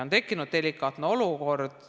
On tekkinud delikaatne olukord.